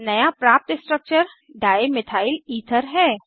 नया प्राप्त structure dimethyl ether है